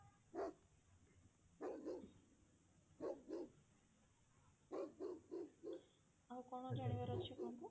ଆଉ କଣ ଜାଣିବାର ଅଛି କୁହନ୍ତୁ?